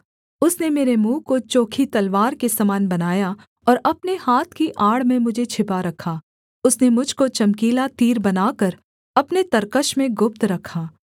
उसने मेरे मुँह को चोखी तलवार के समान बनाया और अपने हाथ की आड़ में मुझे छिपा रखा उसने मुझ को चमकीला तीर बनाकर अपने तरकश में गुप्त रखा